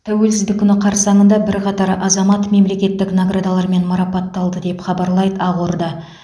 тәуелсіздік күні қарсаңында бірқатар азамат мемлекеттік наградалармен марапатталды деп хабарлайды ақорда